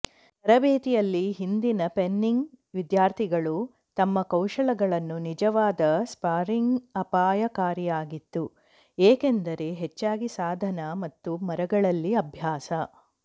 ತರಬೇತಿಯಲ್ಲಿ ಹಿಂದಿನ ಫೆನ್ಸಿಂಗ್ ವಿದ್ಯಾರ್ಥಿಗಳು ತಮ್ಮ ಕೌಶಲಗಳನ್ನು ನಿಜವಾದ ಸ್ಪಾರಿಂಗ್ ಅಪಾಯಕಾರಿಯಾಗಿತ್ತು ಏಕೆಂದರೆ ಹೆಚ್ಚಾಗಿ ಸಾಧನ ಮತ್ತು ಮರಗಳಲ್ಲಿ ಅಭ್ಯಾಸ